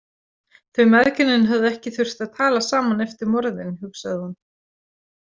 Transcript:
Þau mæðginin höfðu ekki þurft að tala saman eftir morðin, hugsaði hún.